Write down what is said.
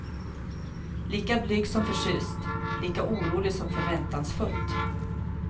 Lika blygt som förtjust, lika oroligt som förväntansfullt.